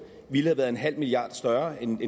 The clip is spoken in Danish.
ville have været en halv milliard større end